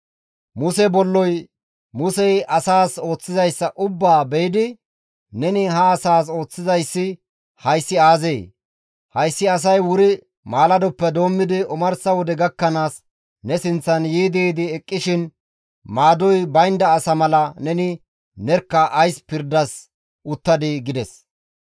Muse bolloy Musey asaas ooththizayssa ubbaa be7idi, «Neni ha asaas ooththizayssi hayssi aazee? Hayssi asay wuri maaladoppe doommidi omarsa wode gakkanaas ne sinththan yiidi yiidi eqqishin, maadoy baynda asa mala neni nerkka ays pirdas uttadii?» gides.